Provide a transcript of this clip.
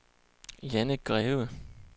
Janne Greve